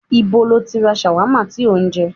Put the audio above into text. Ìbo lọ tí ra ṣàwámà tí ó ń jẹ?